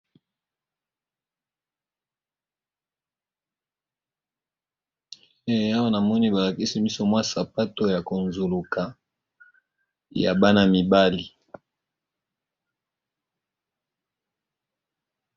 Awa namoni balakisi biso mwa sapato yakonzuluka yabana mibali.